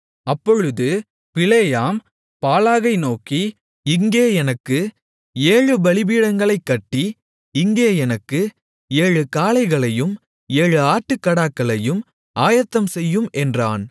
அப்பொழுது பிலேயாம் பாலாகை நோக்கி இங்கே எனக்கு ஏழு பலிபீடங்களைக் கட்டி இங்கே எனக்கு ஏழு காளைகளையும் ஏழு ஆட்டுக்கடாக்களையும் ஆயத்தம்செய்யும் என்றான்